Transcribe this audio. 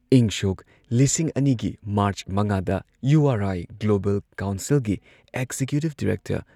ꯏꯪ ꯁꯣꯛ ꯂꯤꯁꯤꯡ ꯑꯅꯤꯒꯤ ꯃꯥꯔꯆ ꯃꯉꯥꯗ ꯌꯨ ꯑꯥꯔ ꯑꯥꯏ ꯒ꯭ꯂꯣꯕꯜ ꯀꯥꯎꯟꯁꯤꯜꯒꯤ ꯑꯦꯛꯖꯤꯀ꯭ꯌꯨꯇꯤꯕ ꯗꯤꯔꯦꯛꯇꯔ